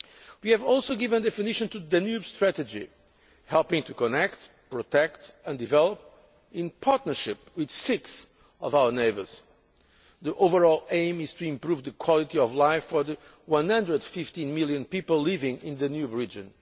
We have also given definition to the Danube strategy helping to connect, protect and develop in partnership with six of our neighbours. The overall aim is to improve the quality of life for the 115 million people living in the Danube